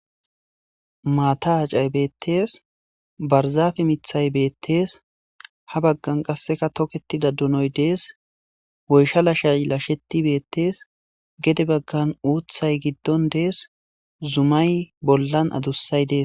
maata hacayi beettees, barzafe mithay beettees,ha baggan qasseka toketida dunoy dees, woysha lashay lasheti beettees, gede baggan uuthay giddon dees,zumay bollan adussay dees.